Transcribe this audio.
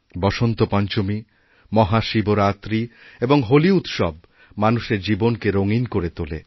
বসন্তপঞ্চমীমহাশিবরাত্রি এবং হোলি উৎসব মানুষের জীবনকে রঙিন করে তোলে